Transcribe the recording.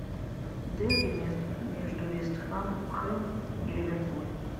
дерби между вест хэм и ливерпуль